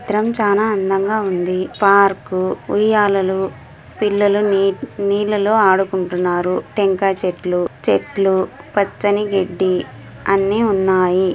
చిత్రం చానా అందంగా ఉంది. పార్కు ఉయ్యాలలు పిల్లలు నీ నీళ్లలో ఆడుకుంటున్నారు. టెంకాయ చెట్లు చెట్లు పచ్చని గడ్డి అన్ని ఉన్నాయి.